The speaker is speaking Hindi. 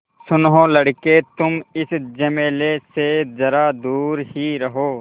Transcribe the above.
सुनो लड़के तुम इस झमेले से ज़रा दूर ही रहो